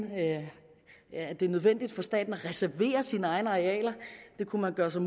at det er nødvendigt for staten at reservere sine egne arealer det kunne man gøre sig